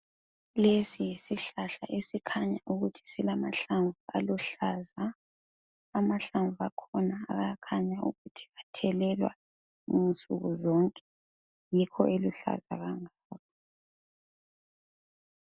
Lesi yisihlahla esikhanya ukuthi silamahlamvu aluhlaza, amahlamvu akhona ayakhanya ukuthi athelelwa nsukuzonke yikho eluhlaza kangako.